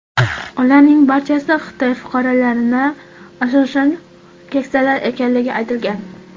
Ularning barchasi Xitoy fuqarolari, asosan keksalar ekanligi aytilgan.